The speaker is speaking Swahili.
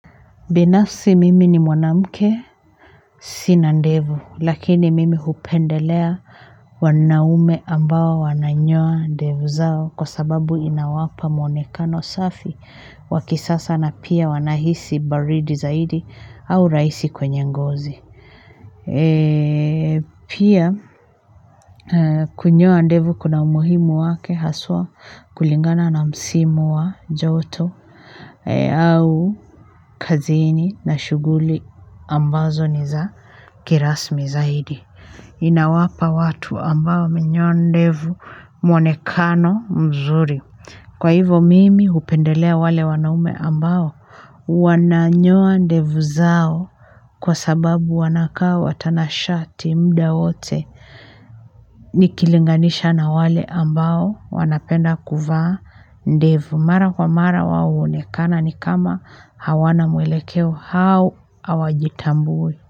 Binafsi mimi ni mwanamke sina ndevu lakini mimi hupendelea wanaume ambao wananyoa ndevu zao kwa sababu inawapa muonekano safi waki sasa na pia wanahisi baridi zaidi au raisi kwenye ngozi. Pia kunyoa ndevu kuna umuhimu wake haswa kulingana na msimu wa joto au kazini na shughuli ambazo ni za kirasmi zaidi. Inawapa watu ambao wamenyoa ndevu mwonekano mzuri kwa hivo mimi hupendelea wale wanaume ambao wananyoa ndevu zao kwa sababu wanakaa watanashati mda wote nikilinganisha na wale ambao wanapenda kuvaa ndevu. Mara kwa mara wao huonekana ni kama hawana mwelekeo hao hawajitambui.